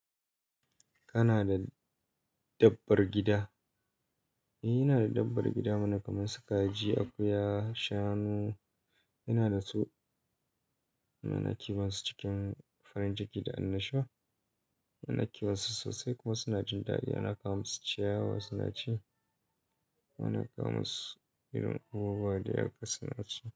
Kana da dabbar gida? Ina da dabbar gida mana kamar su kaji, akuya, shanu. Ina da su, muna kiwon su cikin farin ciki da annashuwa. Muna kiwon su sosai kuma suna jin daɗi. Muna kawo masu ciyawa suna ci. Muna kama su irin ƙaguwa da ya ƙasa suna ci.